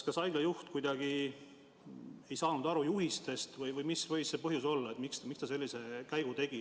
Kas haigla juht ei saanud juhistest aru või mis võis see põhjus olla, et ta sellise käigu tegi?